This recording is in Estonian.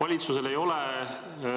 Valitsusel ei ole